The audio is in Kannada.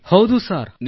ಹೌದು ಸರ್ ಹೌದು ಸರ್